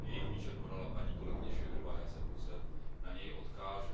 Jejich výčet podala paní kolegyně Šojdrová, já se pouze na něj odkážu.